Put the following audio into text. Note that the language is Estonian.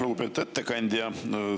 Lugupeetud ettekandja!